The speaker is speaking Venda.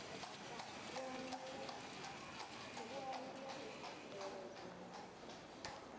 u alula u tsikeledza na